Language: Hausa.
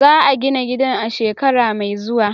Za a gina gidan a shekara mai zuwa.